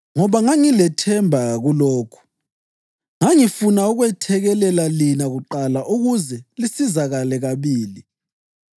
Ngoba ngangilethemba kulokhu, ngangifuna ukwethekelela lina kuqala ukuze lisizakale kabili.